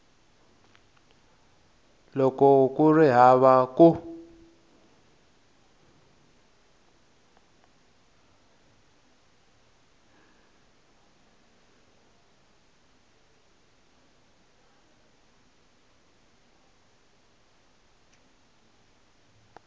loko ku ri hava ku